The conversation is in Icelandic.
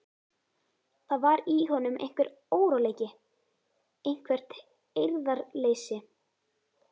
Það var í honum einhver óróleiki, eitthvert eirðarleysi.